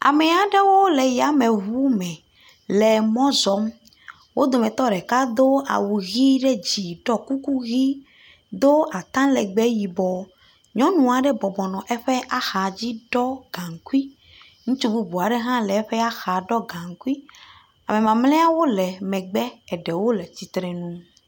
Am aɖewole yameŋu me le mɔ zɔm. wo dometɔ ɖeka do awu ɖe dzi ɖɔ kuku do atalegbe yibɔ. Nyɔnu aɖe bɔbɔnɔ eƒe axa dzi ɖɔ gaŋkui. Ŋutsu bubua ɖe hã le eƒea xa ɖɔ gaɛkui. Am mamleawo le megbe eɖewole tsitre nu.